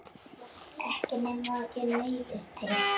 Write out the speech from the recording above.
Lóa kippti símanum frá eyranu.